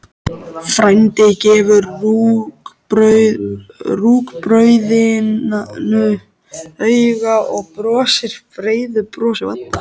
Frændi gefur rúgbrauðinu auga og brosir breiðu brosi.